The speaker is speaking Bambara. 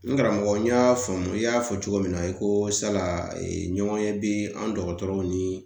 N karamɔgɔ n y'a faamu, i y'a fɔ cogo min na i ko sala ɲɔgɔnye bɛ an dɔgɔtɔrɔw ni